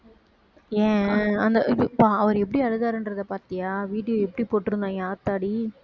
ஏன் அந்த அவர் எப்படி அழுதாருன்றத பார்த்தியா video எப்படி போட்டிருந்தாங்க ஆத்தாடி